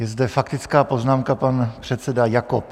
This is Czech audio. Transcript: Je zde faktická poznámka, pan předseda Jakob.